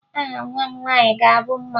Aha nwa m nwaanyị ga-abụ Mma